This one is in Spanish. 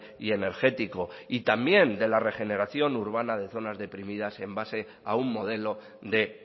y energético y también de la regeneración urbana de zonas deprimidas en base a un modelo de